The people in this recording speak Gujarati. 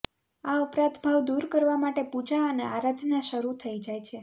આ અપરાધભાવ દૂર કરવા માટે પૂજા અને આરાધના શરૂ થઈ જાય છે